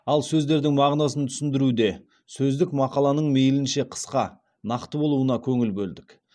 ал сөздердің мағынасын түсіндіруде сөздік мақаланың мейлінше қысқа нақты болуына көңіл бөлдік